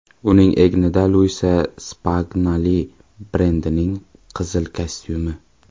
Uning egnida Luisa Spagnoli brendining qizil kostyumi.